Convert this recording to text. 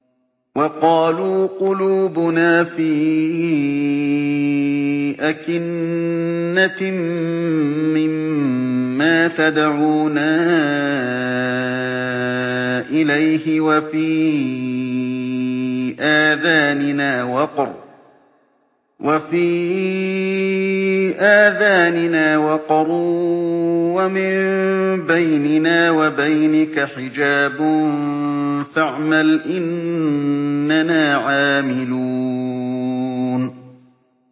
وَقَالُوا قُلُوبُنَا فِي أَكِنَّةٍ مِّمَّا تَدْعُونَا إِلَيْهِ وَفِي آذَانِنَا وَقْرٌ وَمِن بَيْنِنَا وَبَيْنِكَ حِجَابٌ فَاعْمَلْ إِنَّنَا عَامِلُونَ